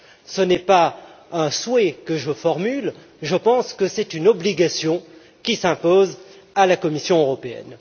Ce n'est pas un souhait que je formule, je pense que c'est une obligation qui s'impose à la Commission européenne.